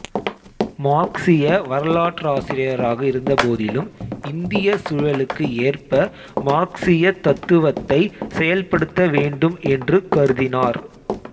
மார்க்சிய வரலாற்றாசிரியராக இருந்தபோதிலும் இந்திய சூழலுக்கு ஏற்ப மார்க்சியத் தத்துவத்தைச் செயல்படுத்தவேண்டும் என்று கருதினார்